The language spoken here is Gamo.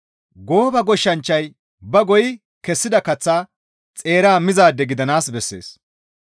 Gooba goshshanchchay ba goyi kessida kaththa xeera mizaade gidanaas bessees.